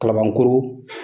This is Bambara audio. Kalabankoro!